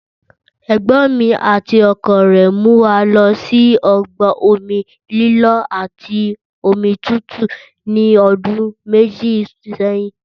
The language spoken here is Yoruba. Ẹ̀gbọ́n mi àti ọkọ rẹ̀ mú wa lọ sí ọgbà omi lílọ́ àti omi tútù ní ọdún méjì sẹ́yìn